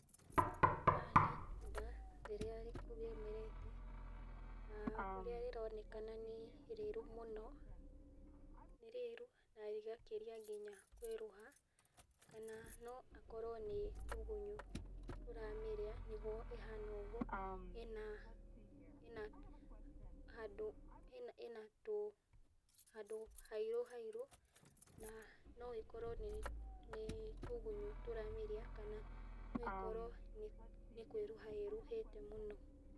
Haha nĩ itunda rĩrĩa rĩmerete na ũrĩa rĩronekana nĩ rĩrũ muno, nĩ rĩrũ na rĩgakĩria nginya kwĩruha kana no akorwo nĩ tũgunyo tũramĩria nĩgũo ihana ũgũo ĩna handũ hairu hairu na no ĩkorwo nĩ tũgunyũ tũramĩrĩa, kana no ĩkorwo nĩ kwĩruha ĩruhĩte mũno.